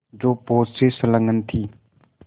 जो पोत से संलग्न थी